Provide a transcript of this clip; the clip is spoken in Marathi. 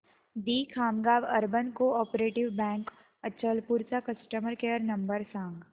दि Khamgaon urban cooperative bank Achalpur चा कस्टमर केअर नंबर सांग